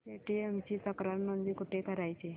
Paytm ची तक्रार नोंदणी कुठे करायची